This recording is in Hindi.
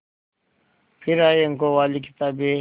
फिर आई अंकों वाली किताबें